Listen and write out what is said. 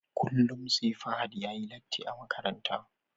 Kullum SE Fahad yayi latti a Makaranta